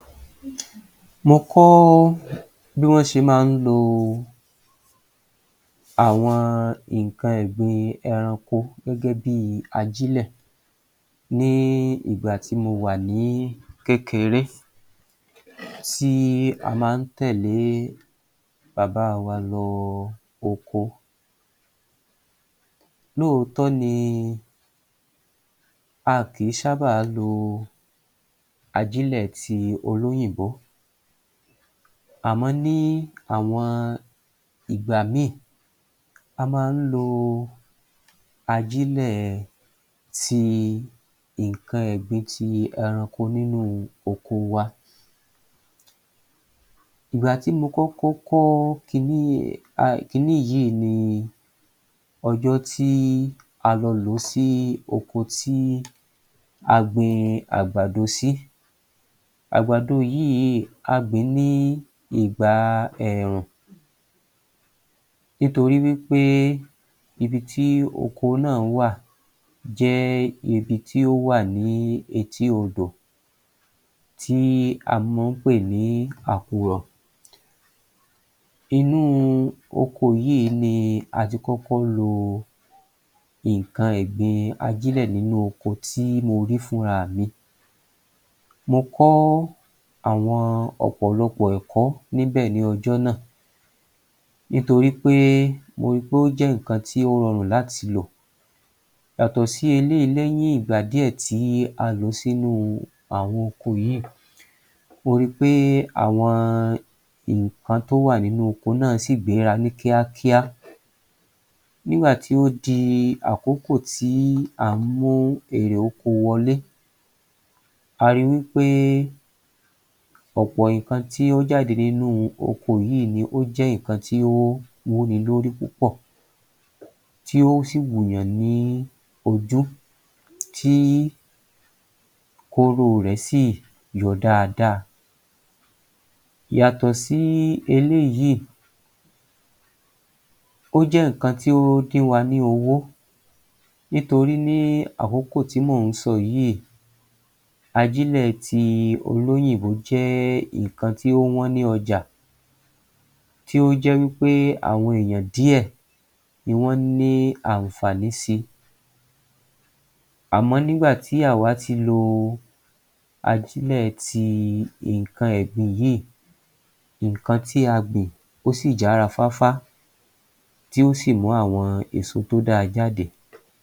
Mo kọ́ bí wọ́n ṣe máa ń lo àwọn nǹkan ẹ̀gbin ẹranko gẹ́gẹ́ bí ajílẹ̀ ní ìgbà tí mo wà ní kékeré tí a máa ń tẹ̀lé bàbá wa lọ oko. Lóòótọ́ ni a kìí ṣábà lo ajílẹ̀ ti olóyìnbó. Àmọ́ ní àwọn ìgbà mìí, a máa ń lo ajílẹ̀ ti nǹkan ẹ̀gbin tí ẹranko nínú oko wa. Ìgbàtí mo kọ́kọ́ kọ́ kiní yìí um kiní yìí ni ọjọ́ tí a lọ lòó sí oko tí a gbin àgbàdo sí. Àgbàdo yìí, a gbìn-ín ní ìgbà ẹ̀ẹ̀rùn nítorí wí pé ibi tí oko náà wà jẹ́ ibi tí ó wà ní etí-odò tí a máa ń pè ní Àkùrọ̀. Inú oko yìí ni a ti kọ́kọ́ lo nǹkan ẹ̀gbin ajílẹ̀ nínú oko tí mo rí fúnra mi. Mo kọ́ àwọn ọ̀pọ̀lọpọ̀ ẹ̀kọ́ níbẹ̀ ní ọjọ́ náà nítorí pé mo rí pé ó jẹ́ nǹkan tí ó rọrùn láti lò. Yàtọ̀ sí eléyìí lẹ́yìn ìgbà díẹ̀ tí a lò ó sínu àwọn oko yìí, mo ri pé àwọn nǹkan tó wà nínú oko náà sì gbéra ní kíákíá. Nígbà tí o dí àkókò tí à ń mú èrè oko wọlé, a ri wí pé ọ̀pọ̀ nǹkan tí ó jáde nínú oko yìí ni ó jẹ́ nǹkan tí ó wúni lórí púpọ̀ tí ó sì wù yàn ní ojú tí kóró rẹ̀ sì yọ dáadáa. Yàtọ̀ sí eléyìí ó jẹ́ nǹkan tí ó dín wa ní owó nítorí ní àkókò tí mò ń sọ yìí ajílẹ̀ ti olóyìnbó jẹ́ nǹkan tí ó wán ní ọjà tí ó jẹ́ wí pé àwọn èèyàn díẹ̀ ni wọ́n ní ànfàní si. Àmọ́ nígbà tí àwá tilo ajílẹ̀ ti nǹkan ẹ̀gbin yìí, nǹkan tí a gbìn ó sì jára fáfá tí ó sì mú àwọn èso tó da jáde.